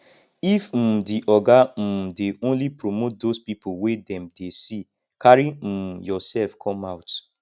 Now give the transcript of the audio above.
if um di oga um dey only promote those pipo wey dem dey see carry um yourself come out